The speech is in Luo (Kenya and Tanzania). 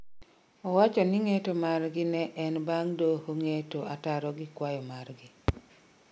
Owacho ni ng'eto margi ne en bang' doho ng'eto ataro gi kwayo margi